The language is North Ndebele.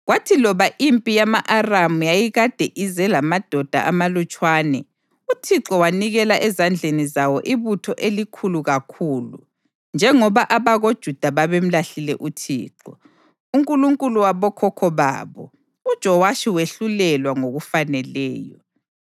Kwathi loba impi yama-Aramu yayikade ize lamadoda amalutshwana, uThixo wanikela ezandleni zawo ibutho elikhulu kakhulu. Njengoba abakoJuda babemlahlile uThixo, uNkulunkulu wabokhokho babo, uJowashi wehlulelwa ngokufaneleyo.